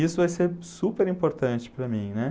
Isso vai ser super importante para mim, né?